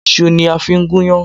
Isu ni a fi n gún iyán